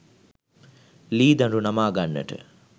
ලී දඬු නමා ගන්නට